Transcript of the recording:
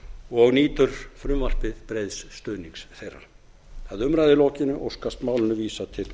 og nýtur frumvarpið breiðs stuðnings þeirra að umræðu lokinni óskast málinu vísað til